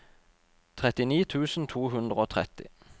trettini tusen to hundre og tretti